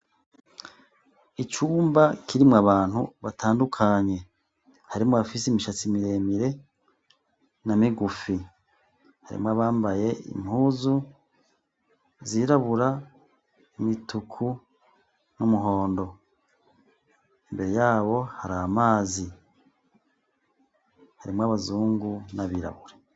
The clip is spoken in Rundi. Icumba kirimwo abantu batandukanye. Harimwo abafise imishatsi miremire na migufi. Harimwo abambaye impuzu zirabura, imituku n'umuhondo. Imbere yabo hari amazi. Harimwo abazungu n'abirabure.